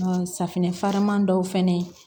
safinɛ farinman dɔw fɛnɛ